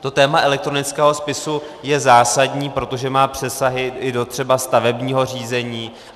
To téma elektronického spisu je zásadní, protože má přesahy i do třeba stavebního řízení.